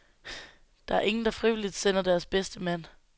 Der er ingen, der frivilligt sender deres bedste mand.